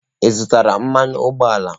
Ị zụtara mmanụ ụgbọala?.